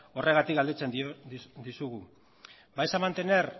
horregatik galdetzen dizugu vais a mantener